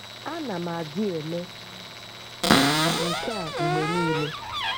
A na m adị eme nke a mgbe niile.